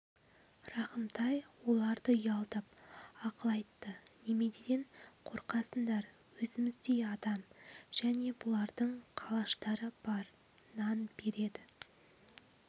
рахымтай оларды ұялтып ақыл айтты неменеден қорқасындар өзіміздей адам және бұлардың қалаштары бар нан береді